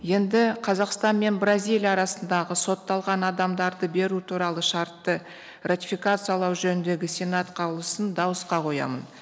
енді қазақстан мен бразилия арасындағы сотталған адамдарды беру туралы шартты ратификациялау жөніндегі сенат қаулысын дауысқа қоямын